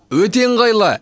өте ыңғайлы